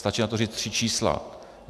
Stačí na to říct tři čísla.